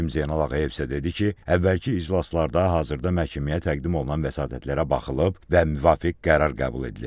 Hakim Zeynal Ağayev isə dedi ki, əvvəlki iclaslarda hazırda məhkəməyə təqdim olunan vəsatətlərə baxılıb və müvafiq qərar qəbul edilib.